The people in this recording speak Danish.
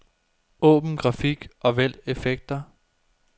Åbn grafik og vælg effekter.